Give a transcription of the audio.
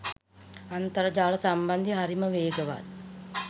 අන්තර් ජාල සම්බන්ධය හ‍රිම වේගවත්